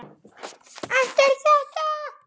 Eftir þetta.